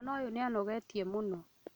Mwana ũyũnĩanogetie mũno